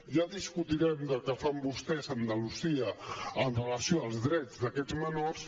ja discutirem del que fan vostès a andalusia amb relació als drets d’aquests menors